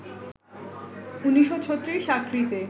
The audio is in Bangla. ১৯৩৬, আক্রিতে